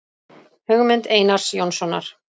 Hugmynd Einars Jónssonar.